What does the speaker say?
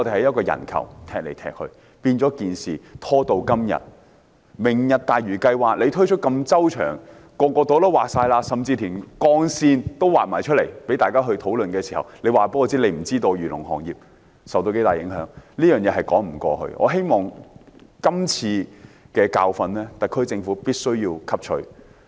政府如此周詳地推出"明日大嶼"計劃，劃定每個部門負責的範疇，甚至劃出界線讓大家討論，卻說不知道漁農行業會受到多大影響，這是說不過去的，我希望特區政府必須汲取今次的教訓。